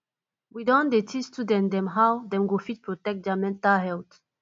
we don dey teach student dem how dem go fit protect their mental health